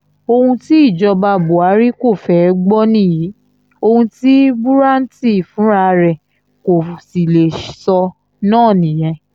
ohun tí ìjọba buhari kò fẹ́ẹ́ gbọ́ nìyí ohun tí bùràntì fúnra rẹ̀ kò sì lè sọ náà nìyẹn